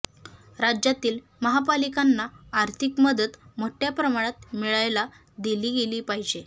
राज्यातील महापालिकांना आर्थिक मदत मोठ्या प्रमाणात मिळायला दिली गेली पाहिजे